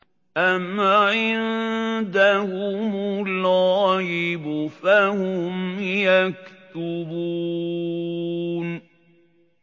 أَمْ عِندَهُمُ الْغَيْبُ فَهُمْ يَكْتُبُونَ